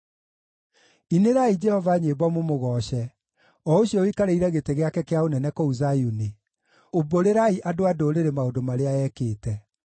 Inĩrai Jehova nyĩmbo mũmũgooce, o ũcio ũikarĩire gĩtĩ gĩake kĩa ũnene kũu Zayuni; umbũrĩrai andũ a ndũrĩrĩ maũndũ marĩa ekĩte.